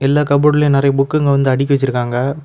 எல்லா கப்போர்ட்லயும் நெறைய புக்ங்க வந்து அடுக்கி வச்சிருக்காங்க.